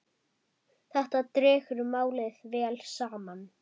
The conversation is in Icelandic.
Þetta dregur málið vel saman.